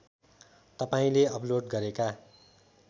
तपाईँले अपलोड गरेका